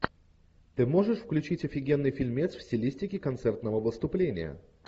ты можешь включить офигенный фильмец в стилистике концертного выступления